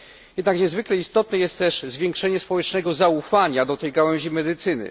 Jednak niezwykle istotne jest też zwiększenie społecznego zaufania do tej gałęzi medycyny.